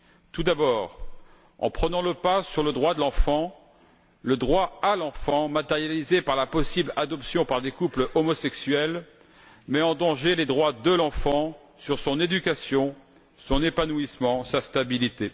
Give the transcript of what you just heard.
Tout d'abord, en prenant le pas sur le droit de l'enfant, le droit à l'enfant matérialisé par la possible adoption par des couples homosexuels met en danger les droits de l'enfant pour ce qui est de son éducation, de son épanouissement et de sa stabilité.